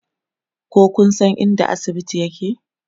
ko Kun San inda asibiti yake?